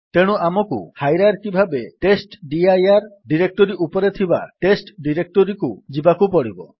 ତେଣୁ ଆମକୁ ହାଇରାର୍କି ଭାବେ ଟେଷ୍ଟଡିର ଡିରେକ୍ଟୋରୀ ଉପରେ ଥିବା ଡିରେକ୍ଟୋରୀକୁ ଯିବାକୁ ପଡିବ